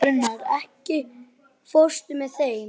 Bernharð, ekki fórstu með þeim?